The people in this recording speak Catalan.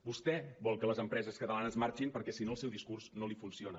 vostè vol que les empreses catalanes marxin perquè si no el seu discurs no li funciona